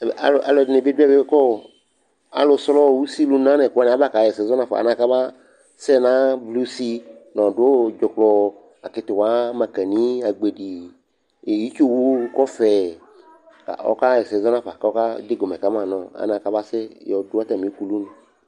Ɛmɛ Alʋɛdɩnɩ bɩ dʋ ɛmɛ kʋ ɔ alʋsrɔ usilʋna nʋ ɛkʋ wanɩ aba kaɣa ɛsɛ zɔ nafa alɛna yɛ kʋ aba sɛ navlɩ usi nʋ ɔdʋ dzʋklɔ, akɩtɩwa, mankanɩ, agbedi, itsuwʋ, kɔfɛ, ɔkaɣa ɛsɛ zɔ nafa kʋ ɔkadegɔmɛ ka ma nʋ ɔ alɛna yɛ kʋ abasɛ yɔ dʋ atamɩ ukulunɩ